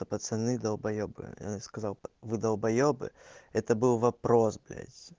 пацаны далбоебы сказал вы долбаебы это был вопрос блять